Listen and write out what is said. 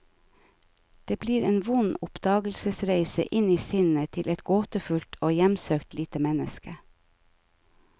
Det blir en vond oppdagelsesreise, inn i sinnet til et gåtefullt og hjemsøkt lite menneske.